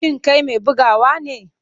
Shin kai mai bugawa ne?